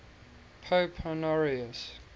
pope honorius